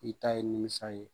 I ta ye nimisa ye.